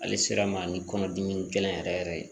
Ale sera ma ni kɔnɔdimi gɛlɛn yɛrɛ yɛrɛ ye